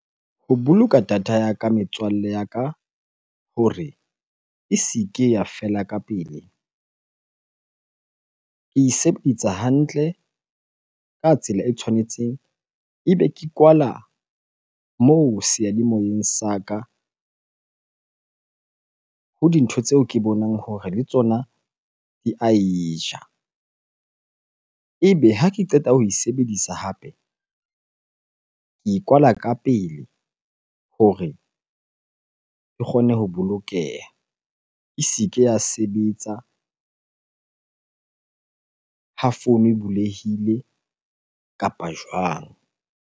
Ho boloka data ya ka metswalle ya ka hore e se ke ya fela ka pele. Ke e hantle ka tsela e tshwanetseng ebe ke kwala moo seyalemoyeng sa ka ho dintho tseo ke bonang hore le tsona di ae ja. Ebe ha ke qeta ho e sebedisa hape, ke e kwala ka pele hore ke kgone ho bolokeha. E se ke ya sebetsa ha founu e bulehile kapa jwang?